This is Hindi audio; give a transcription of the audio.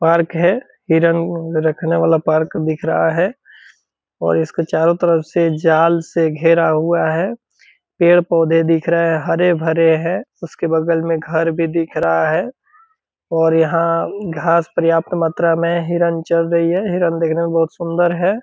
पार्क है हिरन रखने वाला पार्क दिख रहा है और इसके चारों तरफ से जाल से घेरा हुआ है पेड़-पौधे दिख रहे है हरे-भरे है उसके बगल में घर भी दिख रहा है और यहाँ घास पर्याप्त मात्रा में हिरन चर रही है हिरन देखने में बहुत सुंदर है।